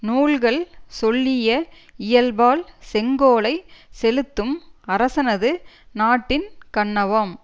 நூல்கள் சொல்லிய இயல்பால் செங்கோலைச் செலுத்தும் அரசனது நாட்டின் கண்ணவாம்